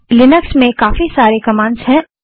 Linux में हमारे पास काफी सारी कमांड्स हैं